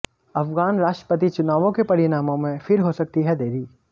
अफ़ग़ान राष्ट्रपति चुनावों के परिणामों में फिर हो सकती है देरी